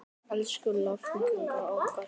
Elsku langafi okkar.